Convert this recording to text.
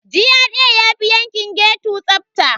GRA yafi yankin ghetto tsafta.